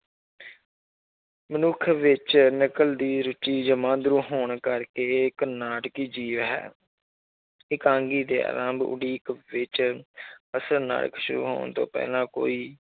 ਮਨੁੱਖ ਵਿੱਚ ਨਕਲ ਦੀ ਰੁੱਚੀ ਜਮਾਂਦਰੂ ਹੋਣ ਕਰਕੇ ਇਹ ਇੱਕ ਨਾਟਕੀ ਜੀਵ ਹੈ ਇਕਾਂਗੀ ਦੇ ਆਰੰਭ ਉਡੀਕ ਵਿੱਚ ਅਸਲ ਨਾਇਕ ਸ਼ੁਰੂ ਹੋਣ ਤੋਂ ਪਹਿਲਾਂ ਕੋਈ